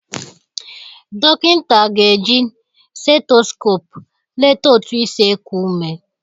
Dọkịnta ga-eji setoskop leta otu isi ekụ ụme.